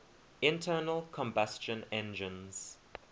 internal combustion engines